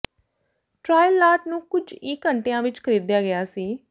trial lot ਨੂੰ ਕੁਝ ਹੀ ਘੰਟਿਆਂ ਵਿਚ ਖਰੀਦਿਆ ਗਿਆ ਸੀ